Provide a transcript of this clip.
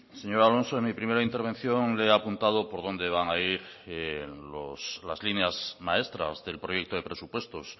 señor alonso en mi primera intervención le he apuntado por dónde van a ir las líneas maestras del proyecto de presupuestos